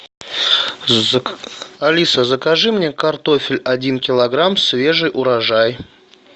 алиса закажи мне картофель один килограмм свежий урожай